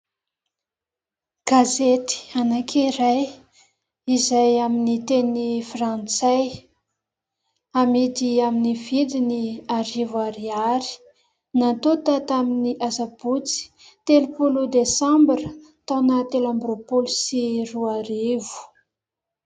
Gazety anankiray izay amin'ny teny frantsay amidy amin'ny vidiny arivo ariary, natonta tamin'ny Asabotsy telopolo Desambra taona telo amby roapolo sy roarivo.